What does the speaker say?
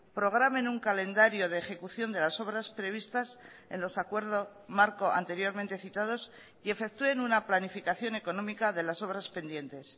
programen un calendario de ejecución de las obras previstas en los acuerdos marco anteriormente citados y efectúen una planificación económica de las obras pendientes